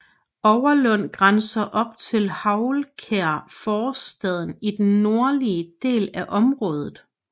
Overlund grænser op til Houlkær forstaden i den nordlige del af området